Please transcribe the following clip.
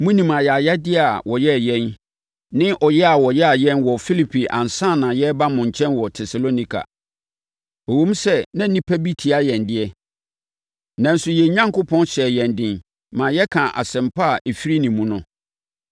Monim ayayadeɛ a wɔyɛɛ yɛn ne ɔyea a wɔyaa yɛn wɔ Filipi ansa na yɛreba mo nkyɛn wɔ Tesalonika. Ɛwom sɛ na nnipa bi tia yɛn deɛ, nanso yɛn Onyankopɔn hyɛɛ yɛn den maa yɛkaa Asɛmpa a ɛfiri ne mu no.